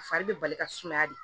A fari bɛ bali ka sumaya de